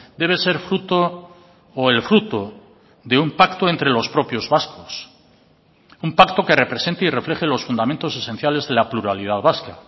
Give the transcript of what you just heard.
debe ser fruto o el fruto de un pacto entre los propios vascos un pacto que represente y refleje los fundamentos esenciales de la pluralidad vasca